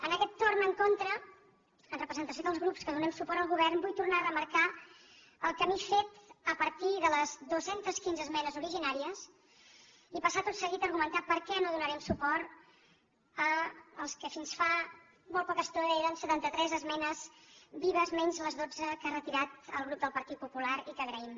en aquest torn en contra en representació dels grups que donem suport al govern vull tornar a remarcar el camí fet a partir de les dues centes quinze esmenes originàries i passar tot seguit a argumentar per què no donarem suport a les que fins fa poca estona eren setanta tres esmenes vives menys les dotze que ha retirat el grup del partit popular i que agraïm